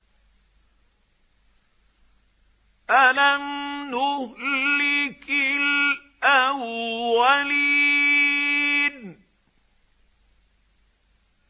أَلَمْ نُهْلِكِ الْأَوَّلِينَ